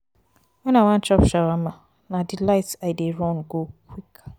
wen i wan chop shawama na delights i dey run go quick.